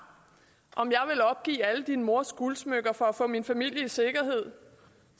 om jeg ville opgive alle dine mors guldsmykker for at få min familie i sikkerhed